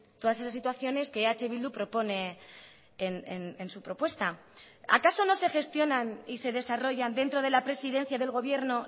todas esas situaciones que eh bildu propone en su propuesta acaso no se gestionan y se desarrollan dentro de la presidencia del gobierno